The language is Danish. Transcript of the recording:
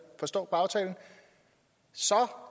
forstår på aftalen så